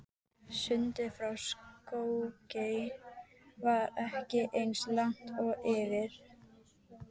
Sundið frá Skógey var ekki eins langt og yfir